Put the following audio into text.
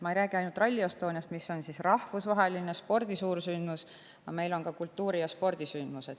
Ma ei räägi ainult Rally Estoniast, mis on rahvusvaheline spordi suursündmus, meil on ka kultuurisündmused ja teised spordisündmused.